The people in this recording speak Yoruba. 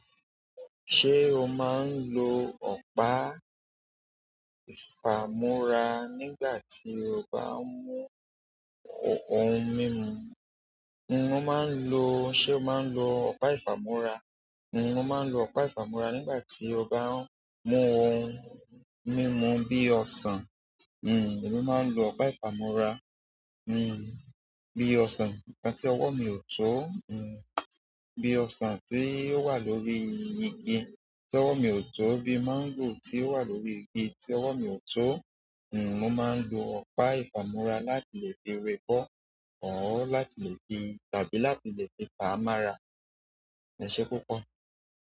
Ṣé o máa ń lo ọ̀pá ìfàmora nígbà tí o bá ń mú ohun mímu? Mo máa ń lo. Ṣé o máa ń lo ọ̀pá ìfàmora? Mo máa ń lo ọ̀pá ìfàmora nígbà tí mo bá ń mú ohun mímu bí i ọsàn. N o máa ń lo ọ̀pá ìfàmúra. Mo máa ń lo ọ̀pá ìfàmora bí i ọsàn tí ọwọ́ mi ò tó, bí i ọsàn tí ó wà lórí igi tí ọwọ́ mi ò tó, bíi máńgò tí ó wà lórí igi tí ọwọ́ mi ò tó. Mo máa ń lo ọ̀pá ìfàmora láti lè fi re bọ́ or láti lè fi tàbí láti lè fi fa á mọ́ra. Ẹ ṣé púpọ̀.